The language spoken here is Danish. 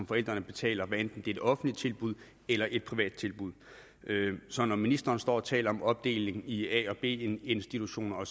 forældrene betaler hvad enten det er et offentligt tilbud eller et privat tilbud så når ministeren står og taler om en opdeling i a og b institutioner er